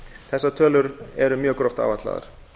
þessar tölur eru mjög gróft áætlaðar